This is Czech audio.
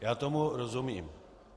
Já tomu rozumím.